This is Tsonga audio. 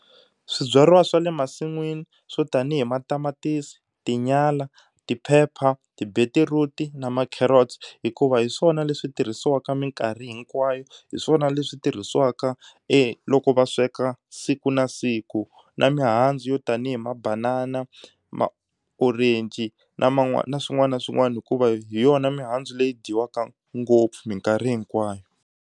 Swibyariwa swa le masin'wini swo tanihi matamatisi, tinyala, tiphepha, ti-beetroot na ma carrots hikuva hi swona leswi tirhisiwaka mikarhi hinkwayo. Hi swona leswi tirhisiwaka loko va sweka siku na siku na mihandzu yo tanihi mabanana, ma-orange na man'wana na swin'wana na swin'wana hikuva hi yona mihandzu leyi dyiwaka ngopfu mikarhi hinkwayo.